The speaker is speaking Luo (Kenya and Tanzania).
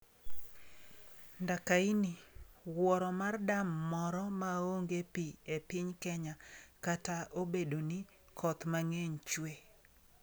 Ndakaini: Wuoro mar dam moro maongee pi e piny Kenya kata obedo ni koth mang'eny chwe